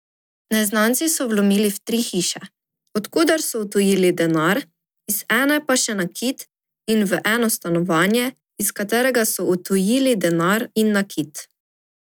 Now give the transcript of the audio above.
Neznanci so vlomili v tri hiše, od koder so odtujili denar, iz ene pa še nakit, in v eno stanovanje, iz katerega so odtujili denar in nakit.